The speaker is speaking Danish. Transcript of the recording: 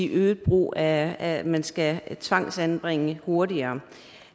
øget brug af at man skal tvangsanbringe hurtigere